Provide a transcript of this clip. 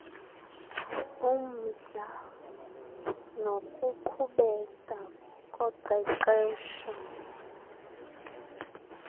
umdla nokuqhubeka koqeqesho